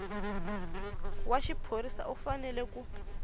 wa xiphorisa u fanele ku